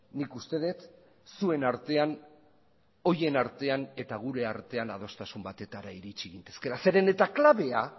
nik uste dut zuen artean horien artean eta gure artean adostasun batetara iritsi gintezkeela zeren eta klabea